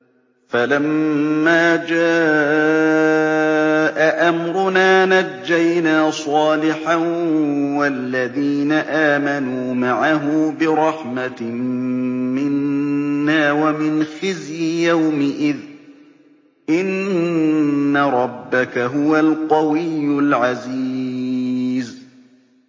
فَلَمَّا جَاءَ أَمْرُنَا نَجَّيْنَا صَالِحًا وَالَّذِينَ آمَنُوا مَعَهُ بِرَحْمَةٍ مِّنَّا وَمِنْ خِزْيِ يَوْمِئِذٍ ۗ إِنَّ رَبَّكَ هُوَ الْقَوِيُّ الْعَزِيزُ